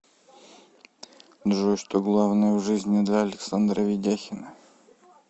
джой что главное в жизни для александра ведяхина